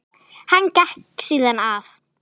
Hann gekk síðan að